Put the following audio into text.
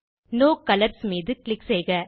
no colours மீது click செய்க